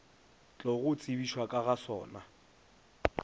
tlogo tsebišwa ka ga sona